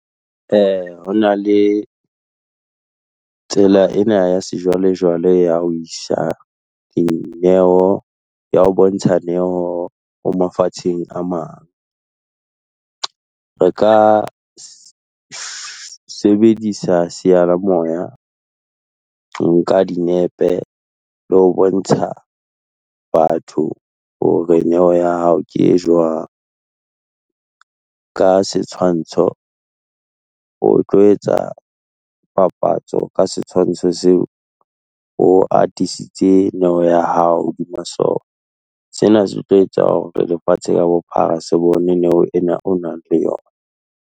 Ho na le, tsela ena ya sejwalejwale ya ho isa dineo, ya ho bontsha neo ho mafatsheng a mang. Re ka sebedisa seyalemoya, ho nka dinepe le ho bontsha batho hore neo ya hao ke e jwang. Ka setshwantsho o tlo etsa papatso ka setshwantsho seo o hatisitse neo ya hao hodima sona. Sena se tlo etsa hore lefatshe ka bophara se bone neo ena o nang le yona.